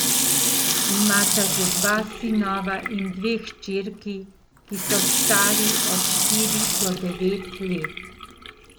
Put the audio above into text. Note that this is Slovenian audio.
Imata že dva sinova in dve hčerki, ki so stari od štiri do devet let.